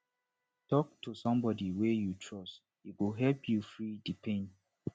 tok to somebodi wey you trust e go help you free di pain